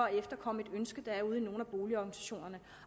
at efterkomme et ønske der er ude i nogle af boligorganisationerne